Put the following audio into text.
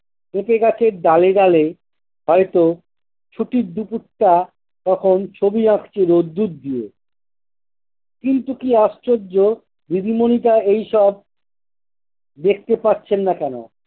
ওকে গাছের ডালে-ডালে হয়ত ছুটির দুপুরটা তখন ছবি আঁকছিলো দুধ দিয়ে। কিন্তু কি আশ্চর্য দিদিমণিটা এইসব দেখতে পাচ্ছেন নাহ কেনো?